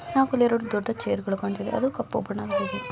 ಆಕಲು ಎರಡು ದೊಡ್ಡ ಚೇರ್ಗಳು ಕಾಣತ್ತಿವೆ ಅದು ಕಪ್ಪು ಬಣ್ಣದಾಗಿದೆ.